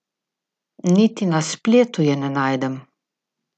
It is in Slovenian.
Niti na spletu je ne najdem.